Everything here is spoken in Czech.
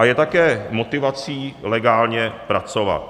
A je také motivací legálně pracovat.